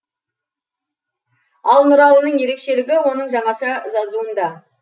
ал нұрланның ерекшелігі оның жаңаша жазуында